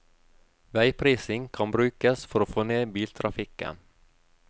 Veiprising kan brukes for å få ned biltrafikken.